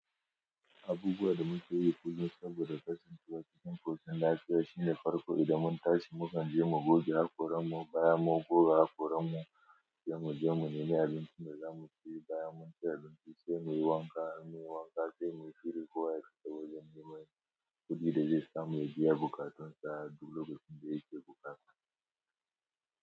Abubuwa da mu ke yi, kullum saboda kasancewa cikin ƙoshin lafiya, shi ne farko, idan mun tashi, mu kan je mu goge, hakoran mu, bayan mun, goga, hakoran mu, se mu je mu, nemi abincin da zamu ci, bayan mu, abinci, se mi wanka, in munyi wanka, se muyi shiri kowa, ya tafi wajen neman kuɗi da zai samu ya, biya bukatun sa, duk lokacin da yake bukata.